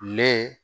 Lɛ